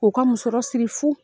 U ka musɔrɔ siri fu.